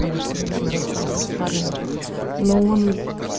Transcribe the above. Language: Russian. что недавно расстался с парнем но он